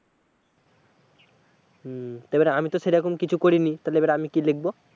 হম এবারে আমি তো সেরকম কিছু করিনি তাহলে এবার আমি কি লিখবো?